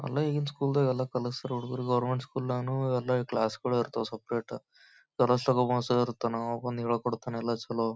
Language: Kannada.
ಅಲ್ಲೇ ಈಗಿನ ಸ್ಕೂಲ್ ದಾಗ್ ಎಲ್ಲ ಕಲ್ಸ್ತ್ರ್ ಹುಡರಗ ಗವರ್ನಮೆಂಟ್ ಸ್ಕೂಲ್ ನಾಗ್ನು ಎಲ್ಲಿ ಕ್ಲಾಸುಗಳು ಇರ್ತವೆ ಸೆಪೆರೇಟ್ ಅವ ಬಂದ್ ಹೇಳಿಕೊಡ್ತಾನೇ ಎಲ್ಲ ಚಲೋ--